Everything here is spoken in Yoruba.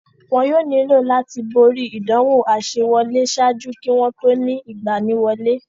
Wọn yóò nílò láti borí ìdánwò àsewọlé ṣáájú kí wọ́n tó ó ni ìgbaniwọlé.